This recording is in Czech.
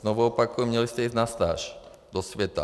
Znovu opakuji, měli jste jít na stáž do světa.